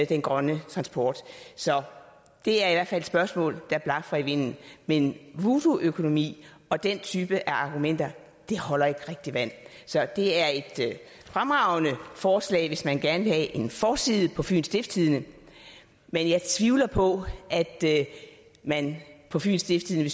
den grønne transport så det er i hvert fald et spørgsmål der blafrer i vinden men voodoo økonomi og den type af argumenter holder ikke rigtig vand det er et fremragende forslag hvis man gerne vil have en forside på fyens stiftstidende men jeg tvivler på at man på fyens stiftstidende